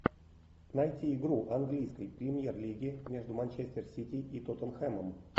найти игру английской премьер лиги между манчестер сити и тоттенхэмом